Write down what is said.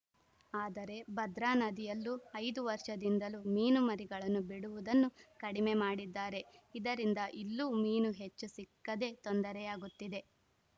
ಆದರೆ ಭದ್ರಾನದಿಯಲ್ಲೂ ಐದು ವರ್ಷದಿಂದಲೂ ಮೀನು ಮರಿಗಳನ್ನು ಬಿಡುವುದನ್ನು ಕಡಿಮೆ ಮಾಡಿದ್ದಾರೆ ಇದರಿಂದ ಇಲ್ಲೂ ಮೀನು ಹೆಚ್ಚು ಸಿಕ್ಕದೆ ತೊಂದರೆಯಾಗುತ್ತಿದೆ